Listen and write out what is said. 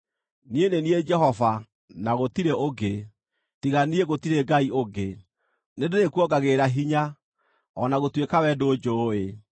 Niĩ nĩ niĩ Jehova, na gũtirĩ ũngĩ; tiga niĩ gũtirĩ Ngai ũngĩ. Nĩndĩrĩkuongagĩrĩra hinya, o na gũtuĩka wee ndũnjũũĩ,